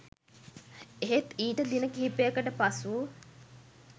එහෙත් ඊට දින කිහිපයකට පසු